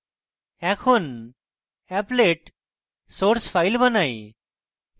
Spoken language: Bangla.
এখন applet source file বানাই